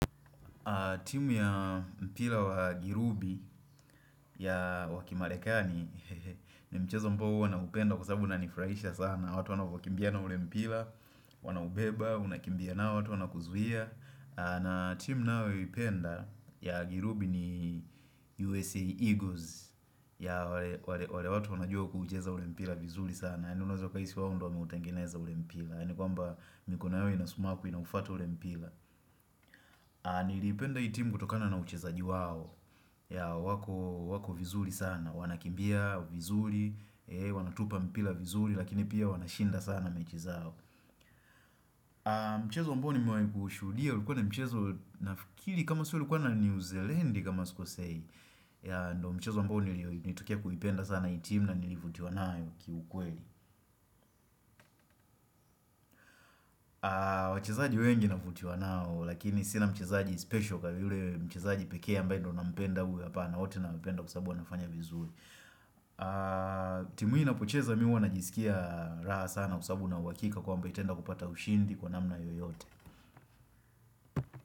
Timu ya mpira wa Girubi ya wa kimarekani ni mchezo ambao huwa naupenda kwa sabu unanifraisha sana. Watu wanavyokimbia na ule mpila, wanaubeba, unakimbia nayo, watu wanakuzuia. Na timu nayipenda ya Girubi ni USA Eagles ya wale watu wanajua kucheza ule mpila vizuli sana. Yaani unaeza kuhisi wao ndo wameutengeneza ule mpila. Yaani kwamba mikono yao inansumaku inaufata ule mpila. Nilipenda hii timu kutokana na uchezaji wao ya wako vizuri sana Wanakimbia vizuri Wanatupa mpila vizuri Lakini pia wanashinda sana mechi zao Mchezo ambao nimewai kuushuhudia ulikuwa na mchezo nafikiri kama sio ilikuwa na New Zealand kama sikosei. Yeah ndo mchezo ambao ni nilitoka kuipenda sana hii timu na nilivutiwa nao kiukweli wachezaji wengi navutiwa nao Lakini sina mchezaji special Kwa vile mchezaji pekee ambae ndo nampenda huyu hapana wote nampenda kwa sabu wanafanya vizuri timu hii inapocheza mi huwa najisikia raha sana kwa sabu nina uhakika kwamba itaenda kupata ushindi kwa namna yoyote.